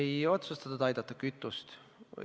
Ei otsustatud aidata kütust.